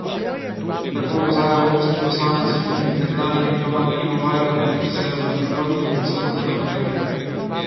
Tako opozarja evropski poslanec in nekdanji diplomat Ivo Vajgl, ki se je vrnil z Zahodnega brega.